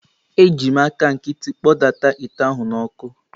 Eji m aka nkịtị kpọdata ite ahụ n’ọkụ.